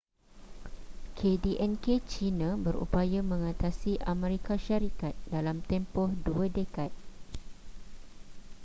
kdnk china berupaya mengatasi amerika syarikat dalam tempoh dua dekad